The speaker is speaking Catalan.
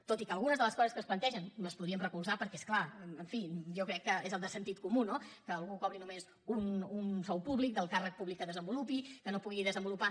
tot i que algunes de les coses que es plantegen les podríem recolzar perquè és clar en fi jo crec que és de sentit comú no que algú cobri només un sou públic del càrrec públic que desenvolupi que no pugui desenvolupar